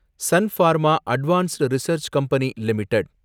Sun Pharma advanced research company limited